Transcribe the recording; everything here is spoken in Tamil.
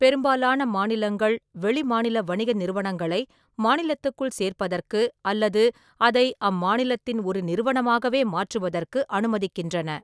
பெரும்பாலான மாநிலங்கள் வெளிமாநில வணிக நிறுவனங்களை மாநிலத்துக்குள் சேர்ப்பதற்கு அல்லது அதை அம்மாநிலத்தின் ஒரு நிறுவனமாகவே மாற்றுவதற்கு அனுமதிக்கின்றன.